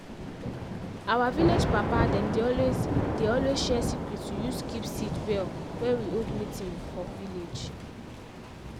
our vilage papa dem dey always dey always share secret to use keep seed well wen we hold meeting for village.